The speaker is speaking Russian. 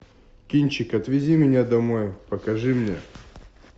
кинчик отвези меня домой покажи мне